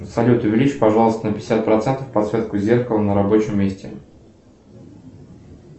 салют увеличь пожалуйста на пятьдесят процентов подсветку зеркала на рабочем месте